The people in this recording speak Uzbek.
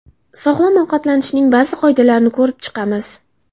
Sog‘lom ovqatlanishning ba’zi qoidalarini ko‘rib chiqamiz.